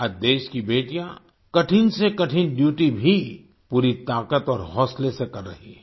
आज देश की बेटियाँ कठिन से कठिन ड्यूटी भी पूरी ताकत और हौसले से कर रही हैं